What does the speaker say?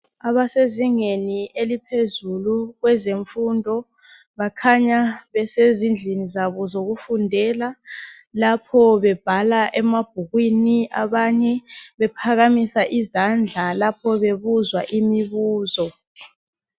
Abasezingeni eliphezulu kwezemfundo bakhanya besezindlini zabo zokufundela. Lapho bebhala emabhukwini. Abanye bephakamisa izandla lapho bebuzwa imibuzo.